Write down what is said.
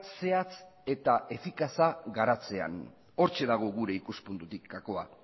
zehatz eta efikaza garatzean hortxe dago gure ikuspuntutik gakoa